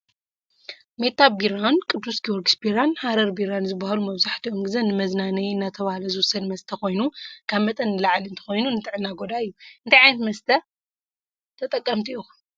ሜታ ቢራን ቅዱስ ጊዮርጊስ ቢራን ሐረር ቢራን ዝብሃሉ መብዛሕቲኡ ግዜ ንመዝናነይ እናተባህለ ዝውሰድ መስተ ኮይኑ ካብ መጠን ንላዕሊ እንተኮይኑ ንጥዕና ጎዳኢ እዩ። እንታይ ዓይነት መስተ ይብሃል?